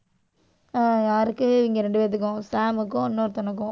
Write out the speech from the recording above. யாருக்கு, இவங்க ரெண்டு பேர்த்துக்கும். சாம்க்கும், இன்னொருத்தனுக்கும்.